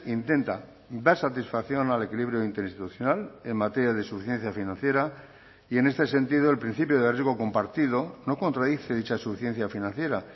intenta dar satisfacción al equilibrio interinstitucional en materia de suficiencia financiera y en este sentido el principio de riesgo compartido no contradice dicha suficiencia financiera